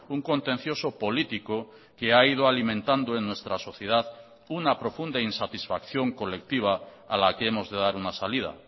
un contencioso político que ha ido alimentando en nuestra sociedad una profunda insatisfacción colectiva a la que hemos de dar una salida